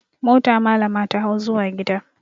Mota malama ta hau zuwa gida.